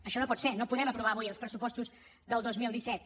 això no pot ser no podem aprovar avui els pressupostos del dos mil disset